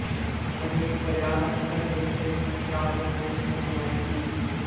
अनेक प्रयास करने के पश्चात उन्होंने सुनवाई की